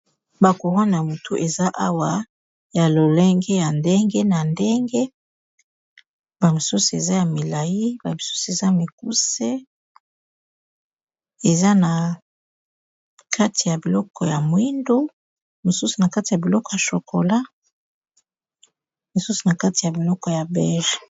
Ba kurone na mutu, eza awa ya lolenge ya ndenge na ndenge. Ba misusu eza ya milai, ba misusu eza mikuse. Eza, na kati ya biloko ya mwindu. Mususu na kati ya biloko ya chokola. Mosusu na kati ya biloko ya bege.